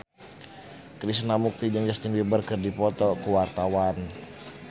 Krishna Mukti jeung Justin Beiber keur dipoto ku wartawan